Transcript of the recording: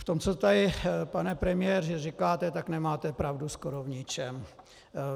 V tom, co tady, pane premiére, říkáte, tak nemáte pravdu skoro v ničem.